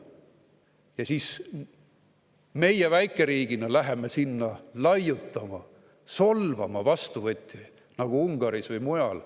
Ja siis meie väikeriigina läheme sinna laiutama, solvama vastuvõtjaid Ungaris või mujal.